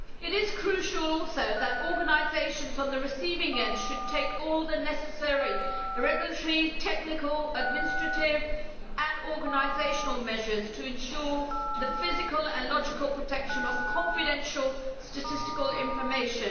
It is crucial also that organisations on the receiving end should take all the necessary regulatory, technical, administrative and organisational measures to ensure the physical and logical protection of confidential statistical information.